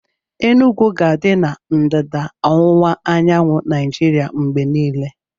Enugwu ga-adị na ndịda ọwụwa anyanwụ Naijiria mgbe niile